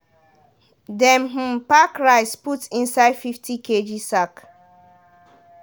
dem um pack rice put inside fifty kg sack.